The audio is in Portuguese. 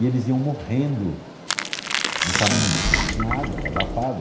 E eles iam morrendo no caminho, porque não tinha água, era abafado.